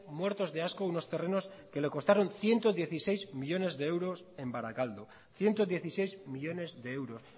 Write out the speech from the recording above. muertos de asco unos terrenos que le costaron ciento dieciséis millónes de euros en barakaldo ciento dieciséis millónes de euros